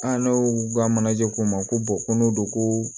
An n'u ka manaje ko u ma ko ko n'o don ko